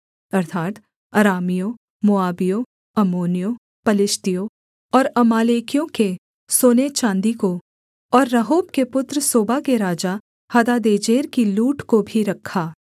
अर्थात् अरामियों मोआबियों अम्मोनियों पलिश्तियों और अमालेकियों के सोने चाँदी को और रहोब के पुत्र सोबा के राजा हदादेजेर की लूट को भी रखा